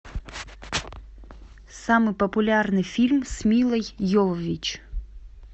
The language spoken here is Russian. самый популярный фильм с милой йовович